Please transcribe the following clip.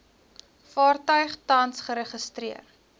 vaartuig tans geregistreer